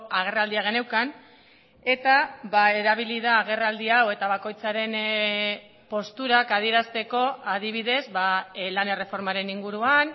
agerraldia geneukan eta erabili da agerraldi hau eta bakoitzaren posturak adierazteko adibidez lan erreformaren inguruan